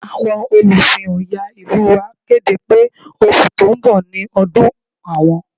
Àwọn Olùsìn Ọya ìlú wa kéde pé oṣù tó ń bọ̀ ni ọdún àwọn